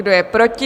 Kdo je proti?